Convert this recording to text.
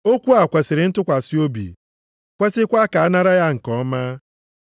Okwu a kwesiri ntụkwasị obi, kwesikwa ka a nara ya nke ọma.